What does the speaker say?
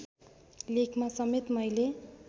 लेखमा समेत मैले